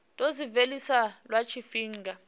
tou zwi vhilisa lwa tshifhinga